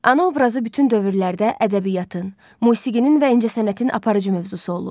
Ana obrazı bütün dövrlərdə ədəbiyyatın, musiqinin və incəsənətin aparıcı mövzusu olub.